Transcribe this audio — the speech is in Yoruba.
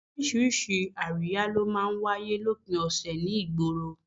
Oríṣiríṣi àríyá ló máa ń wáyé lópin ọ̀sẹ̀ ní ìgboro